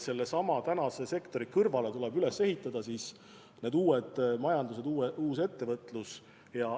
Sellesama praeguse sektori kõrvale tuleb üles ehitada uus majandus, uus ettevõtlus.